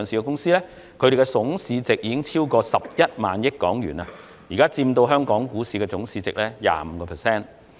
這些公司的總市值已超過11萬億港元，現時佔香港股市總市值的 25%。